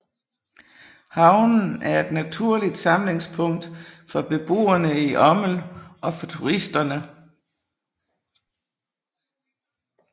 Havnen er et naturligt samlingspunkt for beboerne i Ommel og for turisterne